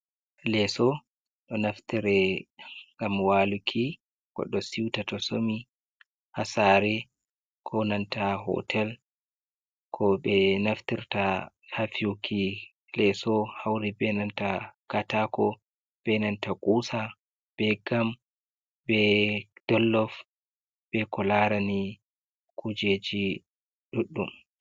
Leso ɗo naftire ngam waluki goɗɗo siuta to somi ha sare konanta hotel ko ɓe naftirta ha fiyuki leso hauri be nanta katako be nanta kusa be gam be dollof be ko larani kujeji ɗuɗɗum.